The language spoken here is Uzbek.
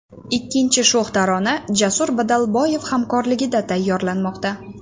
Ikkinchi sho‘x tarona Jasur Badalboyev hamkorligida tayyorlanmoqda.